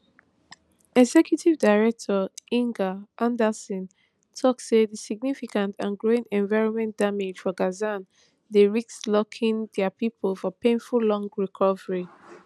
executive director inger andersen tok say di significant and growing environment damage for gaza dey risk locking dia pipo for painful long recovery